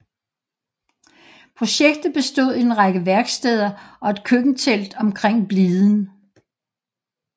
Projektet bestod i en række værksteder og et køkkentelt omkring bliden